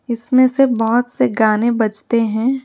इसमें से बहोत से गाने बजते हैं।